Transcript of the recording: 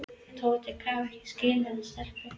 Tóti gat ekki skilið þessar stelpur.